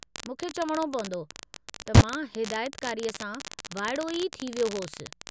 मूंखे चवणो पवंदो त मां हिदायतकारीअ सां वाइड़ो ई थी वियो होसि।